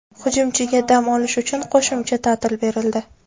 Hujumchiga dam olish uchun qo‘shimcha ta’til berildi.